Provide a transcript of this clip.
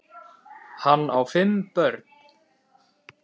Hann á fimm börn.